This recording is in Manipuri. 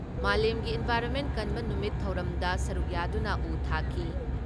ꯃꯥꯂꯦꯝꯒꯤ ꯏꯟꯚꯥꯏꯔꯣꯟꯃꯦꯟ ꯀꯟꯕ ꯅꯨꯃꯤꯠ ꯊꯧꯔꯝꯗ ꯁꯔꯨꯛ ꯌꯥꯗꯨꯅ ꯎ ꯊꯥꯈꯤ ꯫